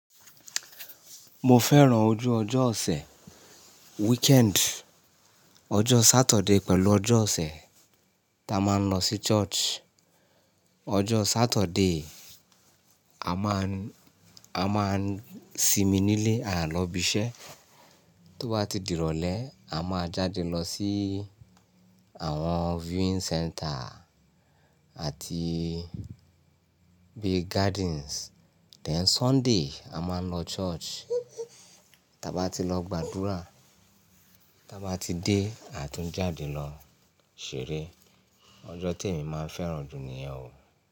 Mo fẹ́ràn ojú ọjọ́ ọ̀sẹ̀ weekend. Ọjọ́ Satọde pẹ̀lú ọjọ́ ọ̀sẹ̀ tá a máa ń lọ sí church. Ọjọ́ Satọde, a máa n sínmi nílé, à ń lọ ibi iṣẹ́. Tó bá ti di ìrọ̀lẹ́ a máa jáde lọ sí àwọn viewing centre àti bí gardens. Then Sunday a máa ń lọ church. Ta bá ti lọ gba dúrà, ta bá ti dé a tún jáde lọ ṣeré. Ọjọ́ tèmi máa ń fẹ́ràn jù níyẹn o.